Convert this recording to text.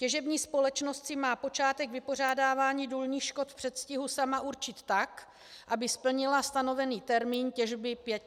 Těžební společnost si má počátek vypořádávání důlních škod v předstihu sama určit tak, aby splnila stanovený termín těžby pěti let.